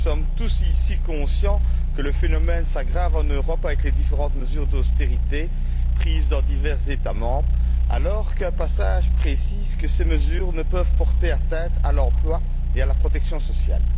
Nous sommes tous, ici, conscients que le phénomène s'aggrave en Europe avec les différentes mesures d'austérité prises dans divers États membres, alors qu'un passage précise que ces mesures ne peuvent porter atteinte à l'emploi et à la protection sociale.